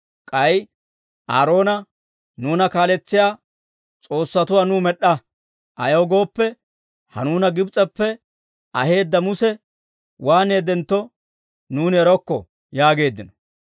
K'ay Aaroona, ‹Nuuna kaaletsiyaa s'oossatuwaa nuw med'd'a; ayaw gooppe, ha nuuna Gibs'eppe aheedda Muse waaneeddentto nuuni erokko› yaageeddino.